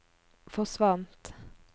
forsvant